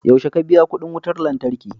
yaushe ka biya kudin wutar lantarki?